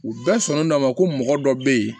U bɛɛ sɔnn'a ma ko mɔgɔ dɔ bɛ yen